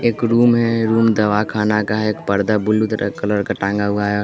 एक रूम है रूम दवाख़ाना का है एक पर्दा ब्लू कलर का टांगा हुआ है।